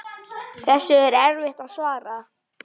Þessu er erfitt að svara.